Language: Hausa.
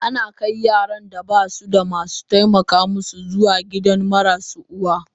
Ana kai Yaran da basu da masu taimaka masu zuwa gidan marasu uwa.